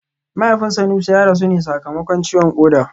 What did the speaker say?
Mahaifin Sanusi ya rasu ne sakamakon ciwon koda